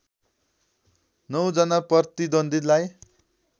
नौ जना प्रतिद्वन्द्वीलाई